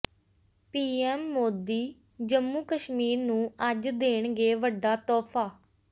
PM Modi Jammu Kashmir ਨੂੰ ਅੱਜ ਦੇਣਗੇ ਵੱਡਾ ਤੋਹਫਾ